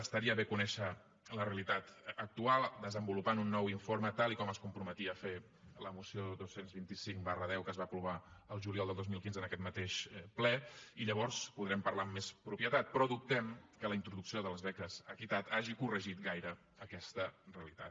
estaria bé conèixer la realitat actual desenvolupant un nou informe tal com es comprometia a fer la moció dos cents i vint cinc x que es va aprovar el juliol del dos mil quinze en aquest mateix ple i llavors podrem parlar amb més propietat però dubtem que la introducció de les beques equitat hagi corregit gaire aquesta realitat